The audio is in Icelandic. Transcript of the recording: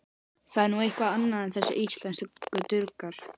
Það er nú eitthvað annað en þessir íslensku durgar.